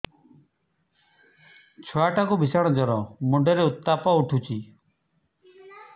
ଛୁଆ ଟା କୁ ଭିଷଣ ଜର ମୁଣ୍ଡ ରେ ଉତ୍ତାପ ଉଠୁଛି